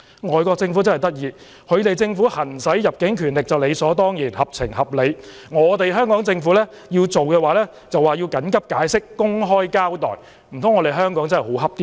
外國政府真有趣，他們行使入境權力便理所當然、合情合理，但香港政府做時卻要緊急解釋、公開交代，難道香港真的好欺負嗎？